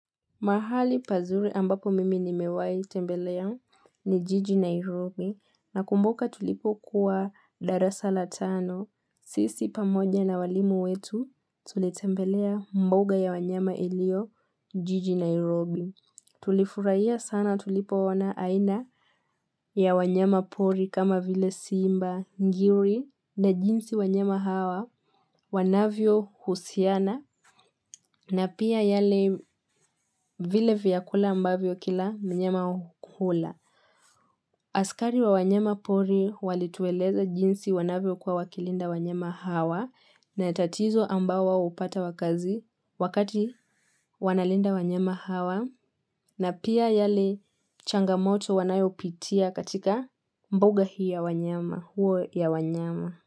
Mahali pazuri ambapo mimi ni mewai tembelea ni jiji Nairobi na kumbuka tulipo kuwa darasa la tano. Sss Sisi pamoja na walimu wetu tulitembelea mbuga ya wanyama ilio jiji Nairobi. Tulifurahia sana tulipo ona aina ya wanyama pori kama vile simba ngiri na jinsi wanyama hawa wanavyo husiana na pia yale vile vyakula ambavyo kila mnyama hukula. Hhh ah Askari wa wanyema pori walitueleza jinsi wanavyo kuwa wakilinda wanyama hawa na tatizo ambao upata wakazi wakati wanalinda wanyama hawa na pia yale changamoto wanayopitia katika mbuga hii ya wanyama, hua ya wanyema.